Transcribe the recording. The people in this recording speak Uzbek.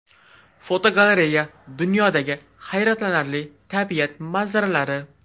Fotogalereya: Dunyodagi hayratlanarli tabiat manzaralari.